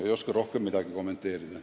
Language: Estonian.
Ei oska rohkem kuidagi kommenteerida.